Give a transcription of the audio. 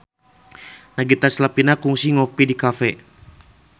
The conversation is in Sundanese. Nagita Slavina kungsi ngopi di cafe